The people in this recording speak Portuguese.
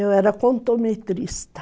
Eu era contometrista.